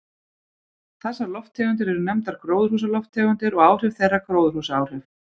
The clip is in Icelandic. Þessar lofttegundir eru nefndar gróðurhúsalofttegundir og áhrif þeirra gróðurhúsaáhrif.